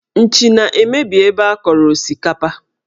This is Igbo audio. Nchi na-emebi ebe a kọrọ osikapa